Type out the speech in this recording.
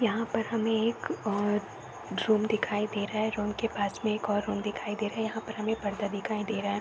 यहाँ पर हमें एक और रूम दिखाई दे रहा है। रूम के पास एक और रूम दिखाई दे रहा है। यहाँ पर हमें एक पर्दा दिखाई दे रहा है।